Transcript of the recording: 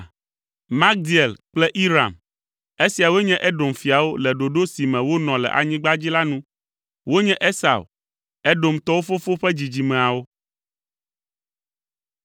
Magdiel kple Iram. Esiawoe nye Edom fiawo le ɖoɖo si me wonɔ le anyigba dzi la nu. Wonye Esau, Edomtɔwo fofo ƒe dzidzimeawo.